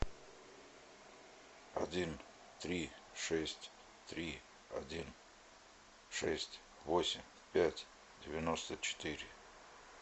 один три шесть три один шесть восемь пять девяносто четыре